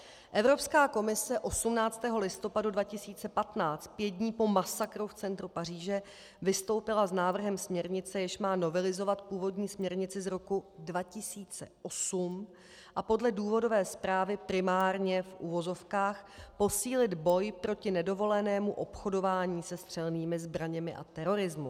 Evropská komise 18. listopadu 2015, pět dnů po masakru v centru Paříže, vystoupila s návrhem směrnice, jež má novelizovat původní směrnici z roku 2008 a podle důvodové zprávy primárně - v uvozovkách - posílit boj proti nedovolenému obchodování se střelnými zbraněmi a terorismu.